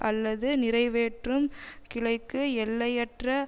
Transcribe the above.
அல்லது நிறைவேற்றும் கிளைக்கு எல்லையற்ற